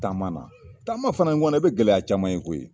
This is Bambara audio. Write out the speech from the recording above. Taama na taama fɛnɛ ni kɔni i be gɛlɛya caman ye koyi